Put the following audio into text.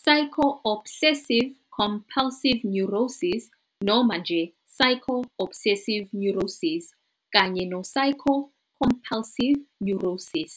"psycho obsessive-compulsive neurosis" noma nje "psycho obsessive neurosis" kanye "psycho compulsive neurosis".